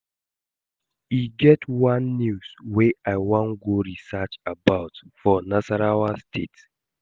E get one news wey I wan go research about for Nasarawa state